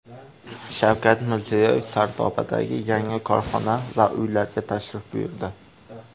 Shavkat Mirziyoyev Sardobadagi yangi korxona va uylarga tashrif buyurdi.